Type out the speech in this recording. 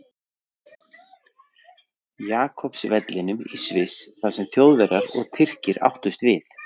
Jakobs vellinum í Sviss þar sem Þjóðverjar og Tyrkir áttust við.